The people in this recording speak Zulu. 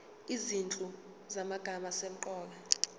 izinhlu zamagama asemqoka